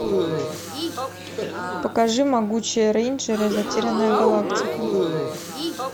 покажи могучие рейнджеры затерянная галактика